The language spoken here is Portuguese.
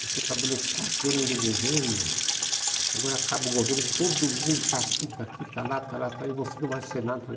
Você trabalhou quatro anos no governo, e agora acaba o governo, todo mundo está aqui, está aqui, está lá, está lá, está lá, e você não vai ser nada. Falei,